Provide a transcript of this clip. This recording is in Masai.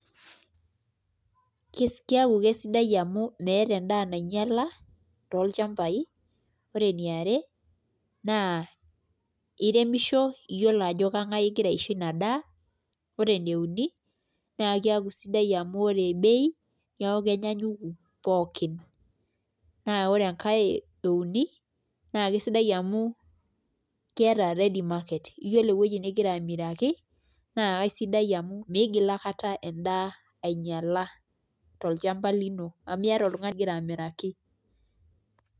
Keaku kesidai amu meeta endaa nainyala tolchambai , ore eniare naa iremisho iyiolo ajo kengas ingira aisho ina daa , ore ene uni naa keaku sidai amu ore bei keaku kenyaanyuku pookin , naa ore enkae euni naa kesidai namu keeta ready market yiolo ewueji ningira amiraki naa kaisidai amu migil aikata endaa ainyala tolchamba lino amu keeta oltungani lingira amiraki